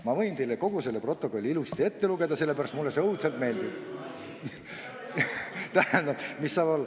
Ma võin teile kogu selle protokolli ilusasti ette lugeda, sellepärast et mulle see õudselt meeldib.